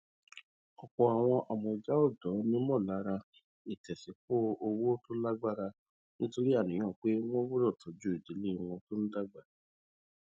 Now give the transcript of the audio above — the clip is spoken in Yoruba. ọpọ àwọn amọja ọdọ nímọlára ìtẹsípọ owó tó lágbára nítorí àníyàn pé wọn gbọdọ tọjú ìdílé wọn tó ń dàgbà